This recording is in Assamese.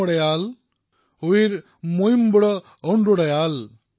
যদি আপুনি এই কাহিনীৰ দ্বাৰা অনুপ্ৰেৰিত হৈছে তেন্তে আজিৰ পৰাই নিজৰ মাতৃভাষাত কথা কোৱাৰ অভ্যাস কৰক